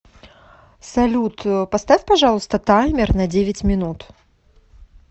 салют поставь пожалуйста таймер на девять минут